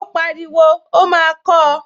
Ó pariwo, 'ó máa kọọ́!